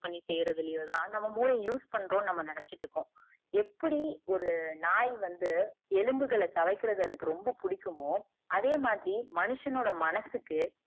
பண்ணி செய்யருதலியோ தான் நம்ம மூளைய use பண்றோம்னு நம்ம நினச்சிட்டு இருக்கோம் எப்டி ஒரு நாய் வந்து எலும்புகள தவைக்கரத்துக்கு அதுக்கு ரொம்ப புடிக்குமோ அதே மாதிரி மனிதனோட மனசுக்கு